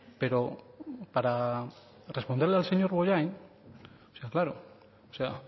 pero para responderle al señor bollain es que claro o sea